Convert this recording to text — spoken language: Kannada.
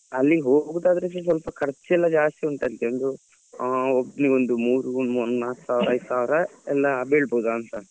ಅಲ್ಲಿ ಹೋಗುದಾದ್ರೆ ಸ್ವಲ್ಪ ಖರ್ಚ್ ಎಲ್ಲ ಜಾಸ್ತಿ ಉಂಟಂತೆ ಒಂದು ಒಬ್ನಿಗೆ ಒಂದು ಮೂರೂ ಒಂದ್ ನಾಕ್ ಸಾವ್ರ ಐದು ಸಾವ್ರ ಎಲ್ಲ ಬೀಳ್ಬೋದಾಂತ.